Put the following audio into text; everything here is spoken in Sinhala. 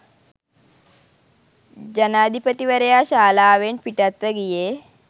ජනාධිපතිවරයා ශාලාවෙන් පිටත්ව ගියේ